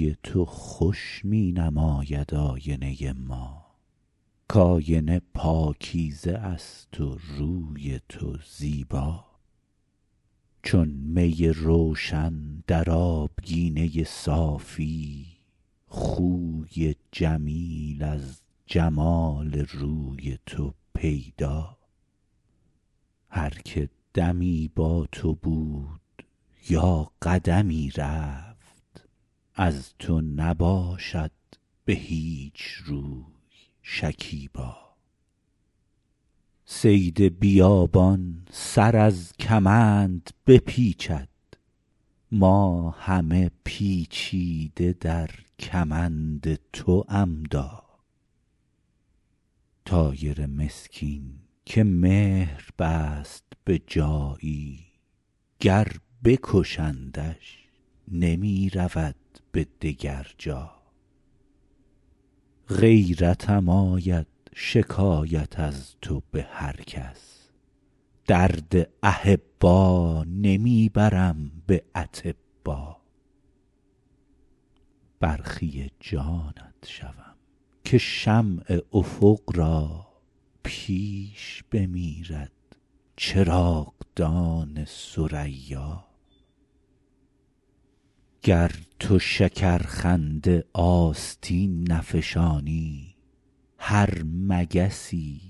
روی تو خوش می نماید آینه ما کآینه پاکیزه است و روی تو زیبا چون می روشن در آبگینه صافی خوی جمیل از جمال روی تو پیدا هر که دمی با تو بود یا قدمی رفت از تو نباشد به هیچ روی شکیبا صید بیابان سر از کمند بپیچد ما همه پیچیده در کمند تو عمدا طایر مسکین که مهر بست به جایی گر بکشندش نمی رود به دگر جا غیرتم آید شکایت از تو به هر کس درد احبا نمی برم به اطبا برخی جانت شوم که شمع افق را پیش بمیرد چراغدان ثریا گر تو شکرخنده آستین نفشانی هر مگسی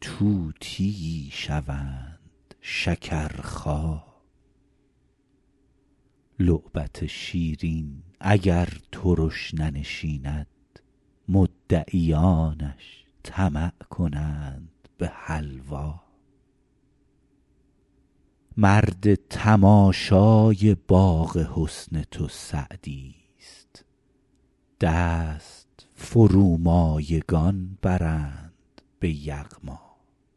طوطیی شوند شکرخا لعبت شیرین اگر ترش ننشیند مدعیانش طمع کنند به حلوا مرد تماشای باغ حسن تو سعدیست دست فرومایگان برند به یغما